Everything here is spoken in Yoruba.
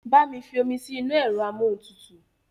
Bá mi fi omi mi sí inú ẹ̀rọ amóhuntutù